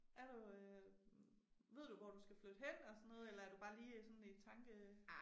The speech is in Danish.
Er du øh ved du hvor du skal flytte hen og sådan noget eller er du bare lige i sådan tanke